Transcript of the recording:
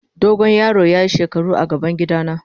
Dogo yaron ya yi shekaru a gaban gida na.